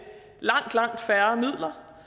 langt langt færre midler